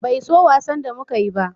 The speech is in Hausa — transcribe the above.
Bai so wasan da muka yi ba